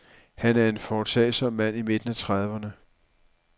Han er en foretagsom mand i midten af trediverne.